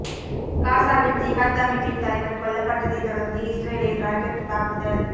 காசாவில் ஜிகாத் அமைப்பின் தலைவர் கொல்லப்பட்டதை தொடர்ந்து இஸ்ரேலில் ராக்கெட் தாக்குதல்